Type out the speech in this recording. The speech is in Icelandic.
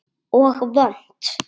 Og vont.